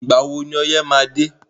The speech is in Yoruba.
Ìgbà wo ni ọyẹ́ má a dé?